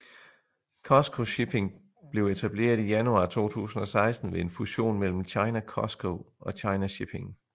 COSCO Shipping blev etableret i januar 2016 ved en fusion mellem China COSCO og China Shipping